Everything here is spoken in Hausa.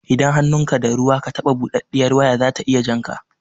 Idan hannunka da ruwa ka taɓa buɗaɗɗiyar waya zata iya jan ka